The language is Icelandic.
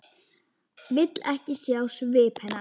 Vill ekki sjá svip hennar.